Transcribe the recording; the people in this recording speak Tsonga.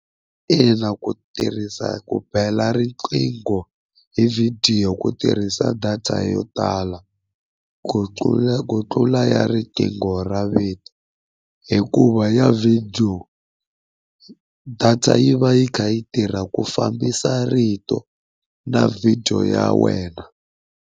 Ina ku tirhisa ku bela riqingho hi vhidiyo ku tirhisa data yo tala, ku tlula ku tlula ya riqingho ra video. Hikuva ya video data yi va yi kha yi tirha ku fambisa rito na video ya wena.